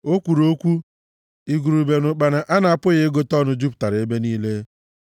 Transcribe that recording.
O kwuru okwu, igurube na ụkpana a na-apụghị ịgụta ọnụ jupụtara ebe niile;